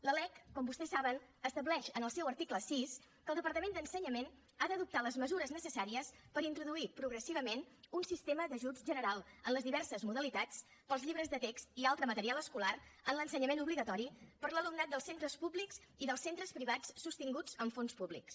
la lec com vostès saben estableix en el seu article sis que el departament d’ensenyament ha d’adoptar les mesures necessàries per introduir progressivament un sistema d’ajuts general en les diverses modalitats per als llibres de text i altre material escolar en l’ensenyament obligatori per a l’alumnat dels centres públics i dels centres privats sostinguts amb fons públics